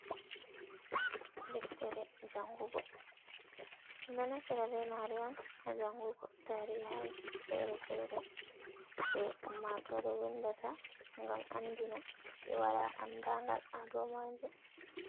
Ɗeftere jangugo, ɗom ɗo naftira ɓemare'on ha jangugo tarihaji fere-fere ɗe ummatore windata gam andina ɓe wala andagal haɗomajom.